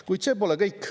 Kuid see pole kõik.